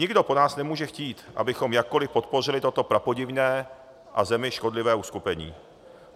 Nikdo po nás nemůže chtít, abychom jakkoliv podpořili toto prapodivné a zemi škodlivé uskupení.